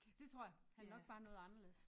Dét tror jeg han er nok bare noget anderledes